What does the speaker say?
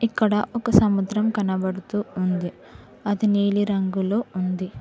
ఇక్కడ ఒక సముద్రం కనబడుతూ ఉంది అది నీలి రంగులో ఉంది.